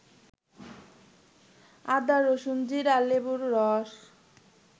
আদা, রসুন, জিরা, লেবুর রস